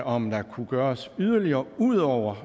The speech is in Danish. om der kunne gøres yderligere ud over